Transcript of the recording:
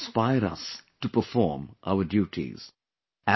All these inspire us to perform our duties